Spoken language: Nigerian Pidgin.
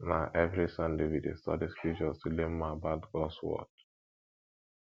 na every sunday we dey study scriptures to learn more about gods word